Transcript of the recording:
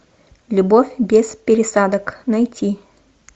любовь без пересадок найти